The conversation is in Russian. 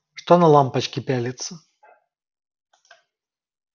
что на лампочки пялиться